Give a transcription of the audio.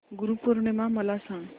गुरु पौर्णिमा मला सांग